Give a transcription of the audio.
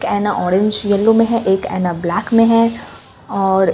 ऐना orange yellow में है एक ऐना ब्लैक में है और --